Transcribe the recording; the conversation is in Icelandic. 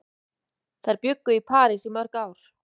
Þær bjuggu í París í mörg ár.